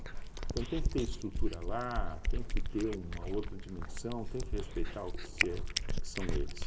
Então tem que ter estrutura lá, tem que ter uma outra dimensão, tem que respeitar o que é que são eles.